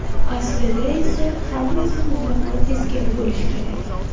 Aslida esa hammasi mutlaqo teskari bo‘lishi kerak.